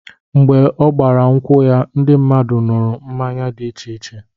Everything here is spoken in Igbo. Mgbe ọ gbara nkwu ya, ndị mmadụ nụrụ mmanya dị iche iche